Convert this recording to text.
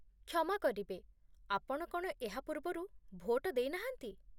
କ୍ଷମା କରିବେ, ଆପଣ କ'ଣ ଏହା ପୂର୍ବରୁ ଭୋଟ ଦେଇନାହାନ୍ତି?